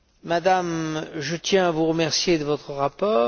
Madame, je tiens à vous remercier de votre rapport.